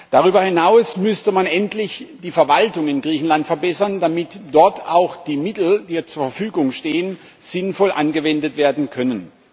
Darüber hinaus müsste man endlich die Verwaltung in Griechenland verbessern, damit dort auch die Mittel die ja zur Verfügung stehen sinnvoll angewendet werden können.